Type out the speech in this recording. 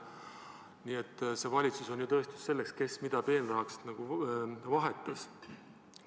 Nii et see valitsus on ju tõestus selle kohta, kes mida peenrahaks vahetas.